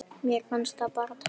Mér fannst það bara. töff.